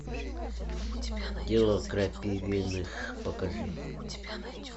дело крапивиных покажи